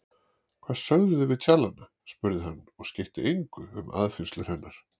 Hvað sögðuð þið við tjallana? spurði hann og skeytti engu um aðfinnslur hennar.